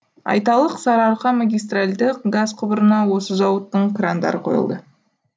айталық сарыарқа магистральді газ құбырына осы зауыттың крандары қойылды